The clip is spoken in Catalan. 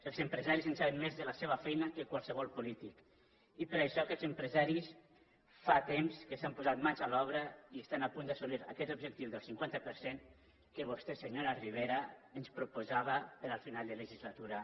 els empresaris en saben més de la seva feina que qualsevol polític i per això aquests empresaris fa temps que s’han posat mans a l’obra i estan a punt d’assolir aquest objectiu del cinquanta per cent que vostè senyora rivera ens proposava per al final de legislatura